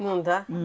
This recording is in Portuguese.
Não dá?